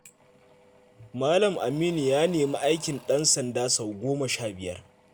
Malam Aminu ya nemi aikin ɗansanda sau goma sha biyar.